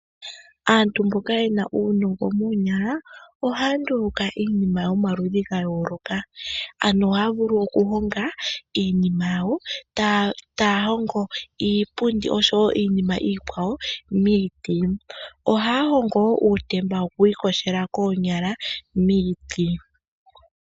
Aantu mboka ye na uunongo moonyala ohaya nduluka iinima yomaludhi ga yooloka ano ohaya vulu okuhonga iinima yawo ngaashi iipundi miiti. Ohaya vulu wo okuhonga uutemba wokwiikoshela koonya miiti.